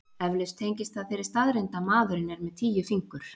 Eflaust tengist það þeirri staðreynd að maðurinn er með tíu fingur.